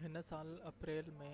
هن سال اپريل ۾